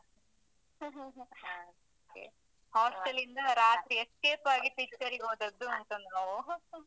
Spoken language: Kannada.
ಹಾಗೆ. hostel ಇಂದ ರಾತ್ರಿ escape ಆಗಿ picture ಗೆ ಹೋದದ್ದು ಉಂಟು ನಾವು.